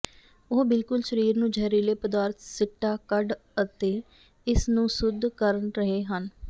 ਉਹ ਬਿਲਕੁਲ ਸਰੀਰ ਨੂੰ ਜ਼ਹਿਰੀਲੇ ਪਦਾਰਥ ਸਿੱਟਾ ਕੱਢ ਅਤੇ ਇਸ ਨੂੰ ਸ਼ੁੱਧ ਕਰਨ ਰਹੇ ਹਨ